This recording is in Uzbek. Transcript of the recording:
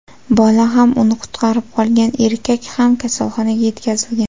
Bola ham uni qutqarib qolgan erkak ham, kasalxonaga yetkazilgan.